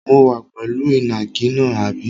Mo wà pẹ̀lú ìnàkí náà, àbí?